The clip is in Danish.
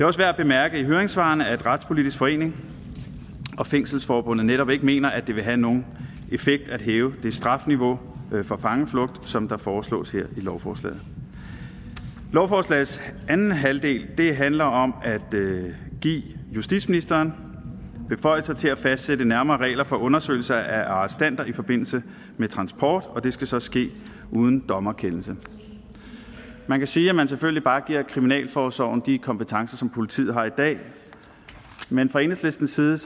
også værd at bemærke i høringssvarene at retspolitisk forening og fængselsforbundet netop ikke mener at det vil have nogen effekt at hæve det strafniveau for fangeflugt som der foreslås her i lovforslaget lovforslagets anden halvdel handler om at give justitsministeren beføjelser til at fastsætte nærmere regler for undersøgelse af arrestanter i forbindelse med transport og det skal så ske uden dommerkendelse man kan sige at man selvfølgelig bare giver kriminalforsorgen de kompetencer som politiet har i dag men fra enhedslistens side